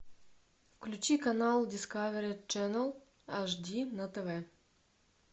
включи канал дискавери ченел аш ди на тв